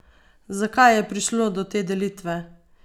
Zakaj je prišlo do te delitve?